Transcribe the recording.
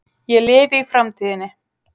Ég lifi í framtíðinni.